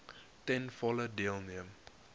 ten volle deelneem